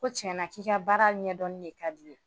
Ko tiɲɛ na k'i ka baara ɲɛdɔn de ka di i ye